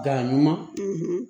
Da ɲuman